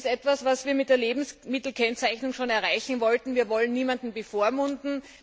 Das ist etwas, was wir mit der Lebensmittelkennzeichnung schon erreichen wollten. Wir wollen niemanden bevormunden.